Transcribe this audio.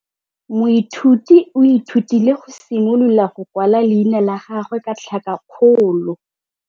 Moithuti o ithutile go simolola go kwala leina la gagwe ka tlhakakgolo.